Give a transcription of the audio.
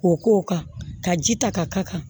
K'o k'o kan ka ji ta ka k'a kan